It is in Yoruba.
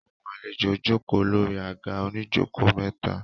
Àwọn àlejò jókòó lórí àga oníjókòó mẹ́ta.